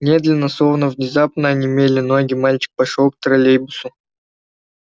медленно словно внезапно онемели ноги мальчик пошёл к троллейбусу